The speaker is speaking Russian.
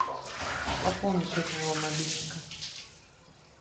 пополни счет моего мобильника